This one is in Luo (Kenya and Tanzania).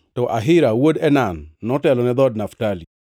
to Ahira wuod Enan notelo ne dhood Naftali.